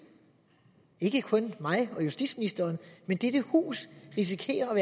ikke kun mig og justitsministeren men dette hus risikerer at